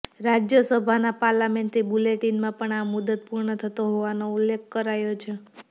રાજ્યસભાના પાર્લામેન્ટરી બુલેટિનમાં પણ આ મુદત પૂર્ણ થતો હોવાનો ઉલ્લેખ કરાયો છે